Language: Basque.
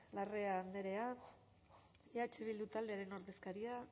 larrea andrea eh bildu taldearen ordezkaria